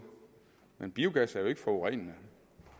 men biogas er jo ikke forurenende